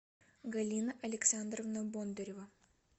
галина александровна бондарева